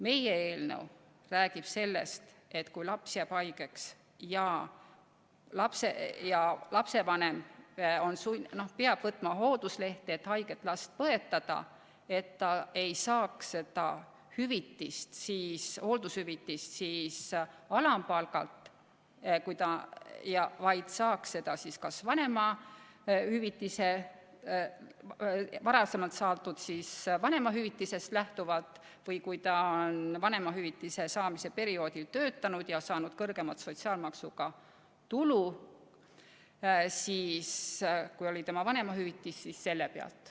Meie eelnõu räägib sellest, et kui laps jääb haigeks ja lapsevanem peab võtma hoolduslehe, et haiget last põetada, siis ta ei saaks hooldushüvitist alampalgast lähtuvalt, vaid kas varem saadud vanemahüvitisest lähtuvalt või kui ta on vanemahüvitise saamise perioodil töötanud ja saanud suuremat sotsiaalmaksuga maksustatud tulu, kui oli tema vanemahüvitis, siis lähtuvalt sellest.